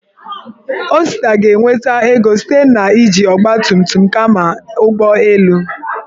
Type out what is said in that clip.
Osita ga-enweta ego site na iji ọgbatumtum kama ụgbọ elu.